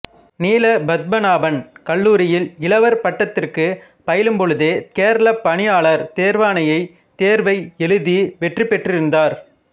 நீல பத்மநாபன் கல்லூரியில் இளவர் பட்டத்திற்குப் பயிலும்பொழுதே கேரள பணியாளர் தேர்வாணையத் தேர்வை எழுதி வெற்றி பெற்றிருந்தார்